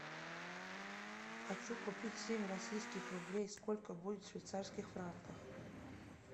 хочу купить семь российских рублей сколько будет в швейцарских франках